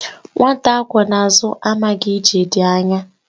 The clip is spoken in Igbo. Nwata akwọ n'azụ amaghị na ije dị anya